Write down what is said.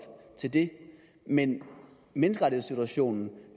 til det men menneskerettighedssituationen